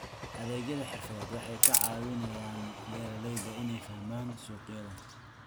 Adeegyada xirfadeed waxay ka caawiyaan beeralayda inay fahmaan suuqyada.